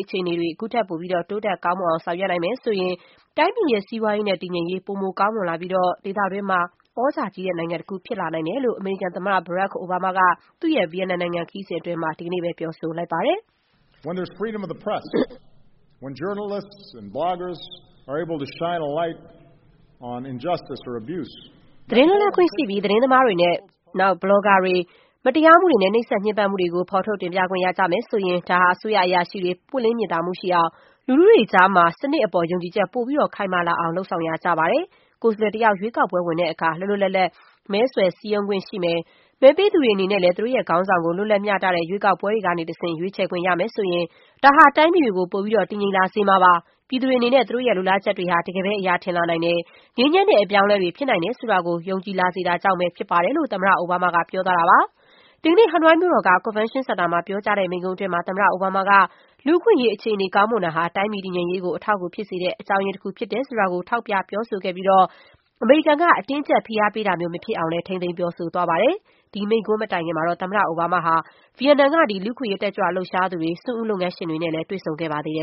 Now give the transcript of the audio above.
အခြေအနေတွေ အခုထက်ပိုပြီး တိုးတက် ကောင်းမွန်အောင် ဆောင်ရွက်နိုင်မယ် ဆိုရင် တိုင်းပြည်ရဲ့ စီးပွားရေးနဲ့ တည်ငြိမ်ရေး ပိုမို ကောင်းမွန်လာပြီး ဒေသတွင်း သြဇာကြီးတဲ့နိုင်ငံတခု ဖြစ်လာနိုင်တယ်လို့ အမေရိကန်သမ္မတ အိုဘားမားက သူ့ရဲ့ ဗီယက်နမ်နိုင်ငံ ခရီးစဉ်တွင်း ဒီကနေ့ ပြောဆိုလိုက်ပါတယ်။ "သတင်းလွတ်လပ်ခွင့် ရှိပြီး သတင်းသမားတွေနဲ့ ဘလောဂါတွေ အနေနဲ့ မတရားမှုတွေနဲ့ နှိပ်စက်ညှင်းပမ်းမှုတွေကို ထုတ်ဖော် တင်ပြခွင့် ရမယ်ဆိုရင် ဒါဟာ အစိုးရအရာရှိတွေ ပွင့်လင်းမြင်သာမှုရှိအောင်၊ လူထုတွေကြားမှာ စနစ်အပေါ် ယုံကြည်ချက် ပိုပြီး ခိုင်မာလာအောင် လုပ်ဆောင်ရာကျပါတယ်။ ကိုယ်စားလှယ်တယောက် ရွေးကောက်ပွဲဝင်တဲ့အခါ လွတ်လွတ်လပ်လပ် မဲဆွယ်စည်းရုံးခွင့် ရှိမယ်၊ မဲပေးသူတွေ အနေနဲ့လည်း သူတို့ရဲ့ ခေါင်းဆောင်ကို လွတ်လပ် မျှတတဲ့ရွေးကောက်ပွဲတွေ ကနေတဆင့် ရွေးချယ်ခွင့်ရမယ်ဆိုရင် ဒါဟာ တိုင်းပြည်တွေကို ပိုပြီးတော့ တည်ငြိမ်လာစေမှာပါ။ ပြည်သူတွေ အနေနဲ့ သူတို့ရဲ့ လိုလားချက်တွေဟာ တကယ်ပဲ အရာထင်လာနိုင်တယ်။ ငြိမ်းချမ်းတဲ့ အပြောင်းအလဲတွေ ဖြစ်နိုင်တယ် ဆိုတာကို ယုံကြည်လာတာကြောင့်ပဲ ဖြစ်ပါတယ်။” လို့ သမ္မတ အိုဘားမားက ပြောသွားတာပါ။ ဒီကနေ့ ဟနွိုင်းမြို့တော်က ကွန်ဗင်န်ရှင်းစင်တာမှာ ပြောကြားတဲ့ မိန့်ခွန်းတွင်း သမ္မတအိုဘားမားက လူ့အခွင့်အရေး အခြေအနေ ကောင်းမွန်တာဟာ တိုင်းပြည်တည်ငြိမ်ရေးကို အထောက်အကူဖြစ်စေတဲ့ အကြောင်းရင်းတခုဖြစ်တယ်ဆိုတာကို ထောက်ပြပြောဆိုခဲ့ပြီး အမေရိကန်က အတင်းအကျပ် ဖိအားပေးတာမျိုး မဖြစ်အောင်လည်း ထိန်းသိမ်း ပြောဆိုသွားပါတယ်။ ဒီမိန့်ခွန်းမတိုင်ခင်မှာတော့ သမ္မတအိုဘားမားဟာ ဗီယက်နမ် တက်ကြွလှုပ်ရှားသူတွေ၊ စွန့်ဦးလုပ်ငန်းရှင်တွေနဲ့ လည်း တွေ့ဆုံခဲ့ပါသေးတယ